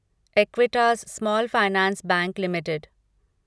Equitas small finance bank limited